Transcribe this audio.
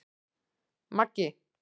Maggi